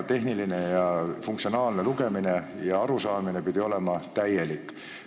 Tehniline ja funktsionaalne lugemine ja arusaamine pidi olema täielik.